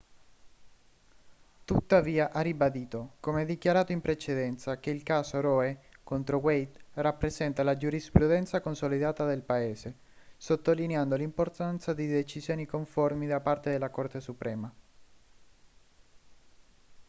tuttavia ha ribadito come dichiarato in precedenza che il caso roe contro wade rappresenta la giurisprudenza consolidata del paese sottolineando l'importanza di decisioni conformi da parte della corte suprema